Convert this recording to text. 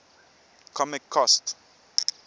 comic cost